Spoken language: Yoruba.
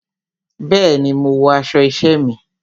Bẹẹni, mo wọ aṣọ isẹ mi.